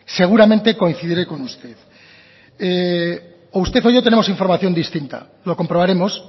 seguramente coincidiré con usted o usted o yo tenemos información distinta lo comprobaremos